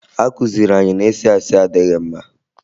A kụziri anyị na ịsị asị adịghị mma